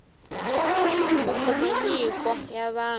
u kuma nyiko ya vanhu